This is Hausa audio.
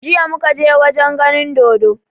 Jiya muka je wajen ganin dodo